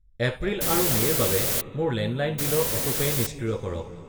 এপ্ৰিল আৰু মে' ৰ বাবে মোৰ লেণ্ডলাইন বিলৰ অটোপে' নিষ্ক্ৰিয় কৰক।